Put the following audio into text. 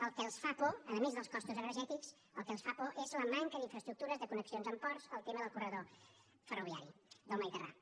el que els fa por a més dels costos energètics és la manca d’infraestructures de connexions amb ports el tema del corredor ferroviari del mediterrani